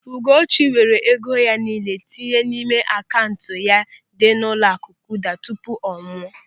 Ugochi weere ego ya nille tinye n'ime akaụntụ ya dị n'ụlọaku Kuda tupu ọ nwụọ.